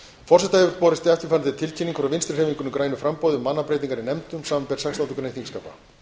forseta hefur borist eftirfarandi tilkynning frá vinstri hreyfingunni grænu framboði um mannabreytingar í nefndum þingsins samanber sextándu grein þingskapa